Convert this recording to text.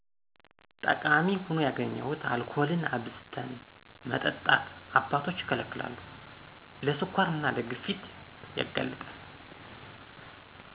ጠቃሚ ሁኖ ያገኘሁት አልኮልን አብዝተን መጠጣት አባቶች ይከለከላሉ ለ ስኳር እና ለግፊት ያጋልጣል